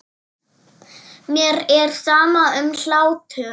Mér er sama um hlátur.